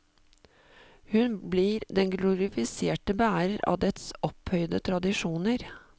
Hun blir den glorifiserte bærer av dets opphøyde tradisjoner.